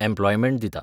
Employment दिता.